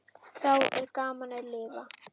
Þá er gaman að lifa!